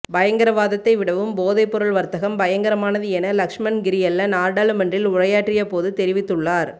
பயங்கரவாத்த்தை விடவும் போதைப் பொருள் வர்த்தகம் பயங்கரமானது என லக்ஸ்மன் கிரியல்ல நாடாளுமன்றில் உரையாற்றிய போது தெரிவித்துள்ளார்